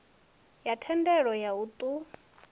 ya thendelo ya u ṱun